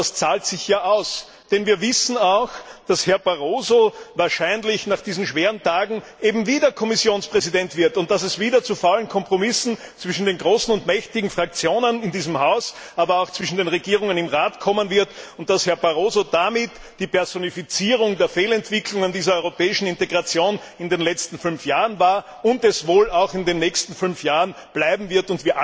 Aber das zahlt sich ja aus, denn wir wissen, dass Herr Barroso wahrscheinlich nach diesen schweren Tagen eben wieder Kommissionspräsident wird und dass es wieder zu faulen Kompromissen zwischen den großen und mächtigen Fraktionen in diesem Haus, aber auch zwischen den Regierungen im Rat kommen wird, und dass Herr Barroso, der die Personifizierung der Fehlentwicklungen dieser europäischen Integration in den letzten fünf Jahren war, es damit wohl auch in den nächsten fünf Jahren bleiben wird.